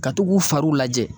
Ka to k'u fariw lajɛ.